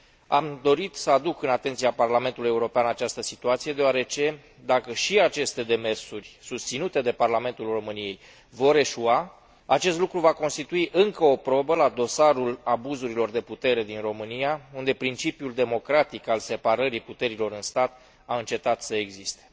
Am dorit să aduc în atenția Parlamentului European această situație deoarece, dacă și aceste demersuri susținute de Parlamentul României vor eșua, acest lucru va constitui încă o probă la dosarul abuzurilor de putere din România, unde principiul democratic al separării puterilor în stat a încetat să existe.